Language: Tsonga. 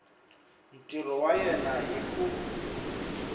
ntirho wa yena hi ku